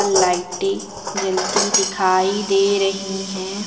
लाइटें जलती दिखाई दे रही हैं।